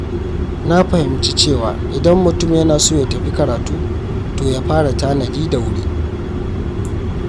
Na fahimci cewa idan mutum yana so ya tafi karatu, to ya fara tanadi da wuri.